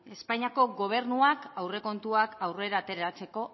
espainiako gobernuak aurrekontuak aurrera ateratzeko